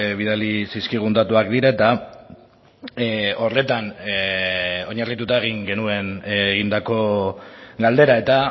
bidali zizkigun datuak dira eta horretan oinarrituta egin genuen egindako galdera eta